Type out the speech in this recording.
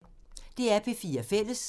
DR P4 Fælles